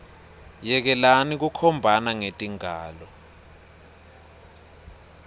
yekelani kukhombana ngetingalo